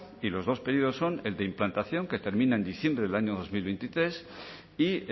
y los dos periodos son el de implantación que termina en diciembre del año dos mil veintitrés y